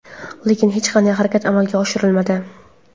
Lekin hech qanday harakat amalga oshirilmadi.